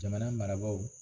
Jamana marabaaw.